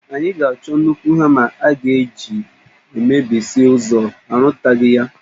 Anyị ga-achọ nnukwu hama a ga-eji emebisi ụzọ, a rụtaghị ya